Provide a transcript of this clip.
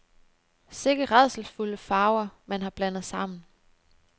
Sikke rædselsfulde farver, man har blandet sammen.